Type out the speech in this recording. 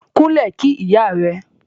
Kúnlẹ̀ kí ìyá rẹ.